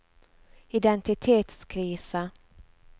identitetskrise